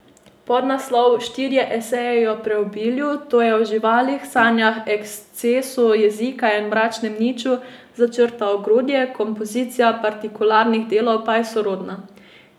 Podnaslov Štirje eseji o preobilju, to je o živalih, sanjah, ekscesu jezika in mračnem niču, začrta ogrodje, kompozicija partikularnih delov pa je sorodna.